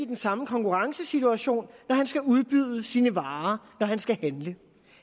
den samme konkurrencesituation når han skal udbyde sine varer og når han skal handle